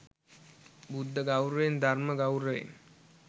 බුද්ධ ගෞරවයෙන්, ධර්ම ගෞරවයෙන්